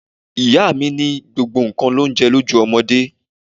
Ìyá mi ní gbogbo nǹkan l'oúnje lójú ọmọdé.